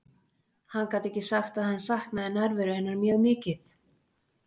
Hann gat ekki sagt að hann saknaði nærveru hennar mjög mikið.